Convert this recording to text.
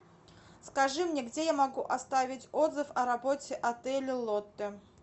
скажи мне где я могу оставить отзыв о работе отеля лотте